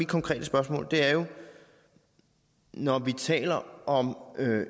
konkret spørgsmål når vi taler om